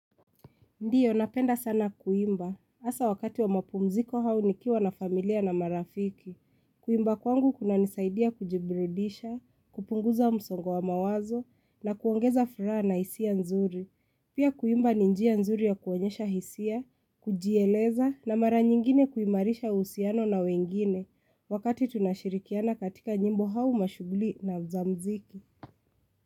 Ndiyo, napenda sana kuimba. Hasa wakati wa mapumziko au nikiwa na familia na marafiki. Kuimba kwangu kunanisaidia kujiburudisha, kupunguza msongo wa mawazo na kuongeza furaha na hisia nzuri. Pia kuimba ni njia nzuri ya kuonyesha hisia, kujieleza na mara nyingine kuimarisha uhusiano na wengine wakati tunashirikiana katika nyimbo au mashuguli na za mziki.